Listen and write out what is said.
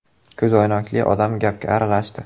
Ko‘zoynakli odam gapga aralashdi.